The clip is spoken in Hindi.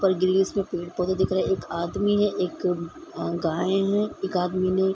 में पेड़-पौधे दिख रहे हैं एक आदमी है एक गाय हैं एक आदमी ने --